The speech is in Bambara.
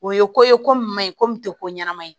O ye ko ye ko min ma ɲi ko min tɛ ko ɲanama ye